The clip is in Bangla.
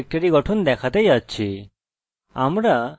চলুন শুরু করা যাক